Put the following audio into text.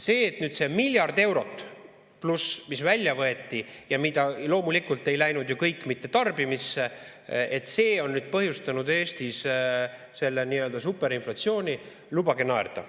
See miljard eurot pluss, mis välja võeti ja loomulikult ei läinud ju mitte kõik tarbimisse, et see on põhjustanud Eestis selle nii‑öelda superinflatsiooni – lubage naerda.